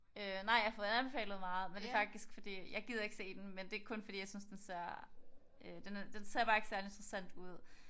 Øh nej. Jeg har fået den anbefalet meget men det er faktisk fordi jeg gider ikke se den men det er kun fordi jeg synes den ser øh den ser bare ikke særlig interessant ud